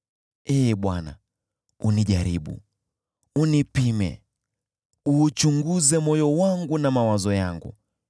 Ee Bwana , unijaribu, unipime, uuchunguze moyo wangu na mawazo yangu;